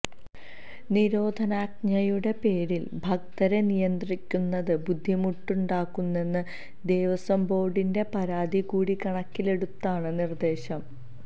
നിരോധനാജ്ഞയുടെ പേരില് ഭക്തരെ നിയന്ത്രിക്കുന്നത് ബുദ്ധിമുട്ടുണ്ടാക്കുന്നെന്ന ദേവസ്വംബോര്ഡിന്റെ പരാതി കൂടി കണക്കിലെടുത്താണ് നിര്ദ്ദേശം